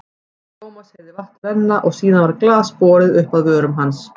Thomas heyrði vatn renna og síðan var glas borið upp að vörum hans.